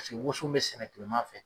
Paseke woson bɛ sɛnɛ kilema fɛ